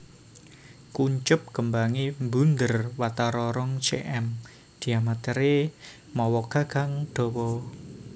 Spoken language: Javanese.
Kuncup kembange mbunder watara rong cm diametere mawa gagang dawa